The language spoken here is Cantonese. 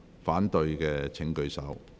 反對的請舉手。